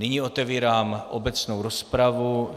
Nyní otevírám obecnou rozpravu.